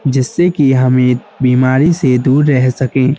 जिससे कि हमें बिमारी से दूर रह सके।